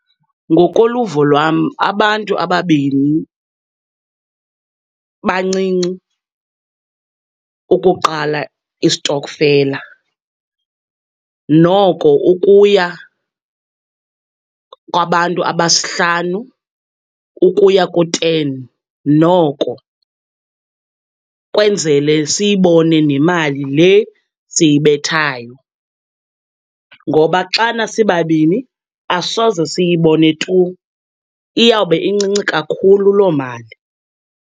Ngokoluvo lwam, abantu ababini bancinci ukuqala istokfela. Noko ukuya kwabantu abahlanu ukuya ku-ten noko, kwenzele siyibone nemali le siyibethayo. Ngoba xana sibabini, asoze siyibone tu, iyawube incinci kakhulu loo mali.